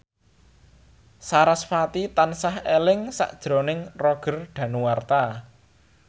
sarasvati tansah eling sakjroning Roger Danuarta